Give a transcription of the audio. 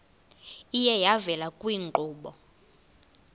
iye yavela kwiinkqubo